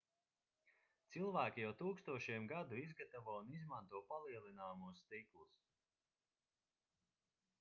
cilvēki jau tūkstošiem gadu izgatavo un izmanto palielināmos stiklus